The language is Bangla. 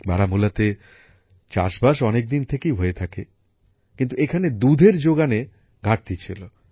বারামুলাতে চাষবাস অনেকদিন থেকেই হয়ে থাকে কিন্তু এখানে দুধএর যোগানে ঘাটতি ছিল